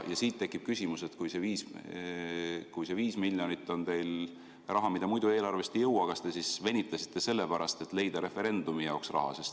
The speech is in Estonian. Siit tekib küsimus, et kui see 5 miljonit on raha, mida muidu eelarvest ei leia, siis kas te venitasite sellepärast, et leida referendumi jaoks raha.